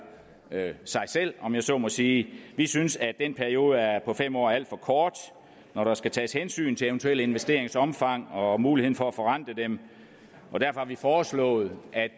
sig selv om jeg så må sige vi synes at den periode på fem år er alt for kort når der skal tages hensyn til eventuelle investeringers omfang og muligheden for at forrente dem derfor har vi foreslået at